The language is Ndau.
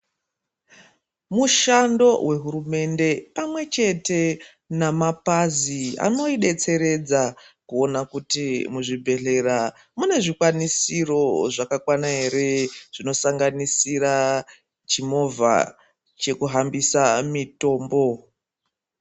Mushando wehurumende pamwe chete namapazi, anoyidetseredza kuwona kuti muzvibhedhlera mune zvikwanisiro zvakakwana ere, zvinosanganisira chimovha chekuhambisa mitombo.